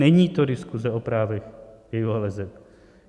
Není to diskuze o právech gayů a leseb.